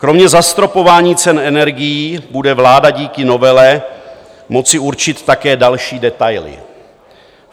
Kromě zastropování cen energií bude vláda díky novele moci určit také další detaily.